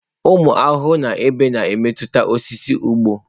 Ụmụ ahụhụ na ebe na-emetụta osisi ugbo.